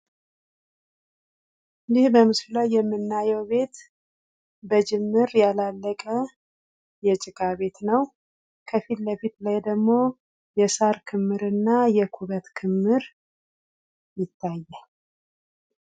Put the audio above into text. ይህ በምስሉ ላይ የምናየው ቤት በጅምር ያላለቀ የጭቃ ቤት ነው። ከፊትለፊት ደግሞ የሳር ክምርና የኩበት ክምር ይታያሉ።